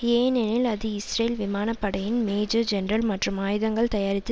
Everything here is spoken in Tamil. ஏனெனில் அது இஸ்ரேல் விமான படையின் மேஜர் ஜெனரல் மற்றும் ஆயுதங்கள் தயாரித்து